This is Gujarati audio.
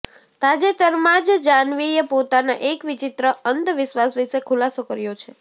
તાજેતરમાં જ જાહ્નવીએ પોતાના એક વિચિત્ર અંધવિશ્વાસ વિશે ખુલાસો કર્યો છે